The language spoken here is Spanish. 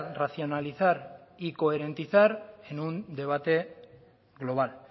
racionalizar y cohorentizar en un debate global